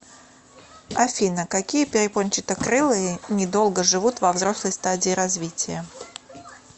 афина какие перепончатокрылые недолго живут во взрослой стадии развития